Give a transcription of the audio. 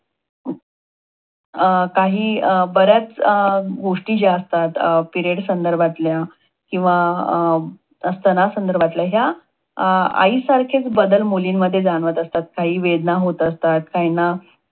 अं काही अं बऱ्याच अं गोष्टी ज्या असतात. अं periods संदर्भातल्या किंवा स्थनसंदर्भातल्या ह्या आईसारखेच बदल मुलीमध्ये जाणवत असतात. काही वेदना होत असतात काहींना